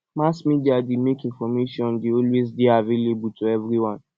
mass media dey make information de always dey available to everybody